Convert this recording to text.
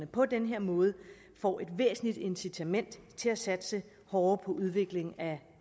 på den her måde får et væsentligt incitament til at satse hårdere på udvikling af